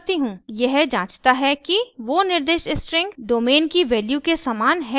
यह जांचता है कि वो निर्दिष्ट स्ट्रिंग domain की वैल्यू के समान है या नहीं